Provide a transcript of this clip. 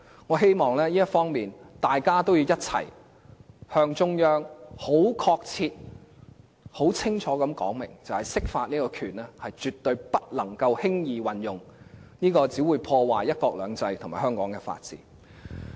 我希望在這方面，大家要一起向中央很確切和很清楚地說明，釋法的權力絕對不能輕易運用，因為這樣只會破壞"一國兩制"和香港的法治。